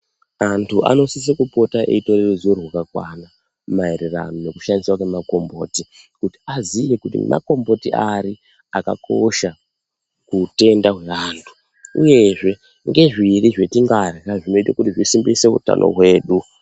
Antu anosise kupota eipuwe ruzivo rwakakwana maererano nekushandiswa kwemakomboti kuti aziye kuti makomboti ari akakosha kuutenda hweantu uyezve ngezviri zvatingarya zvinoite kuti zvisimbise utano hwedu.